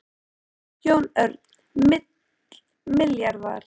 Jón Örn: Milljarðar?